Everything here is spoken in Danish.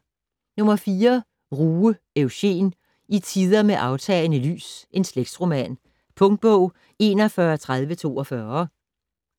Ruge, Eugen: I tider med aftagende lys: slægtsroman Punktbog 413042